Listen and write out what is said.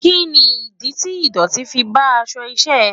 Kí ni ìdí tí ìdọ̀tí fi bá aṣọ iṣẹ́ ẹ?